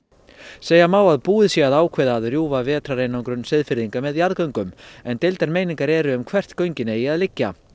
segja má að búið sé að ákveða að rjúfa vetrareinangrun Seyðfirðinga þeirra með jarðgöngum en deildar meiningar eru uppi um hvert göngin eiga að liggja